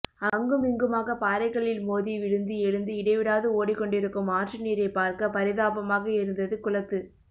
அங்கும் இங்குமாக பாறைகளில் மோதி விழுந்து எழுந்து இடைவிடாது ஓடிக்கொண்டிருக்கும் ஆற்று நீரைப் பார்க்க பரிதாபமாக இருந்தது குளத்து